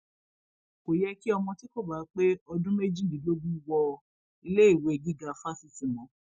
kò yẹ kí ọmọ tí kò bá pé ọdún méjìdínlógún wọ iléèwé gíga fásitì mọ